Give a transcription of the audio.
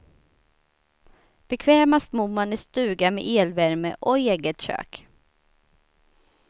Bekvämast bor man i stuga med elvärme och eget kök.